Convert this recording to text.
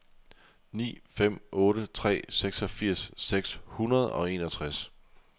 ni fem otte tre seksogfirs seks hundrede og enogtres